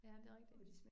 Ja, men det rigtigt